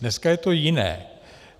Dneska je to jiné.